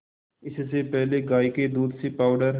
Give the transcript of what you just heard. इससे पहले गाय के दूध से पावडर